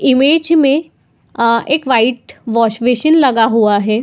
Image में अ एक वाइट वाश-बेसिन लगा हुआ है।